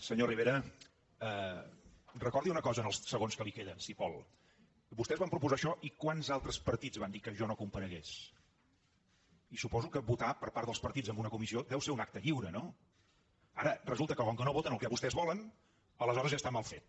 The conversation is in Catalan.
senyor rivera recordi una cosa en els segons que li queden si vol vostès van proposar això i quants altres partits van dir que jo no comparegués i suposo que votar per part dels partits en una comissió deu ser un acte lliure no ara resulta que com no voten el que vostès volen aleshores ja està mal fet